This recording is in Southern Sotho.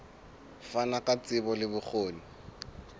fana ka tsebo le bokgoni